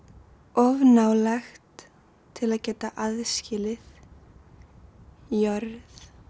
of nálægt til að geta aðskilið jörð